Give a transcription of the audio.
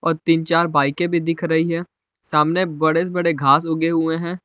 तीन चार बाईकें भी दिख रही हैं सामने बड़े बड़े घास उगे हुए हैं।